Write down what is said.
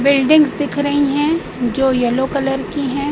Buildings दिख रही है जो येलो कलर की है।